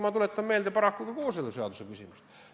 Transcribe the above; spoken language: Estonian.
Sama küsimus oli paraku ka kooseluseaduse puhul.